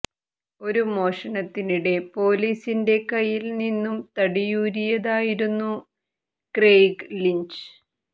ഒരു മോഷണത്തിനിടെ പോലീസിന്റെ കയ്യിൽ നിന്നും തടിയൂരിയതായിരുന്നു ക്രെയ്ഗ് ലിഞ്ച്